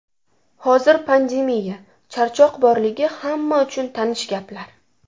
Hozir pandemiya, charchoq borligi hamma uchun tanish gaplar.